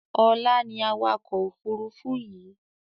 Ọlá ni awakọ̀ Òfurufú yii